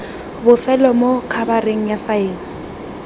bofelo mo khabareng ya faele